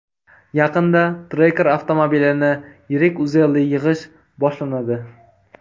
Yaqinda Tracker avtomobilini yirik uzelli yig‘ish boshlanadi.